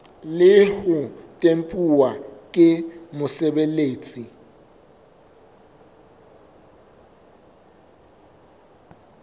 le ho tempuwa ke mosebeletsi